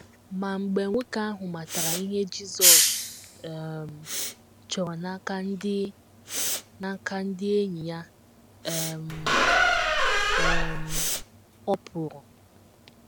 Ma mgbe nwoke ahụ matara ihe Jizọs um chọrọ n’aka ndị n’aka ndị enyi ya um, um “ ọ pụrụ. ”